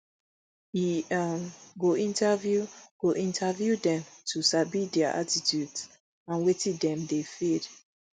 e um go interview go interview dem to sabi dia attitudes and wetin dem dey fid